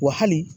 Wa hali